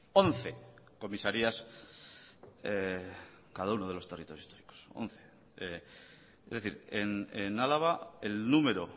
once comisarías cada uno de los territorios históricos once es decir en álava el número